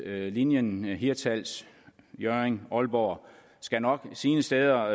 linjen hirtshals hjørring aalborg skal nok sine steder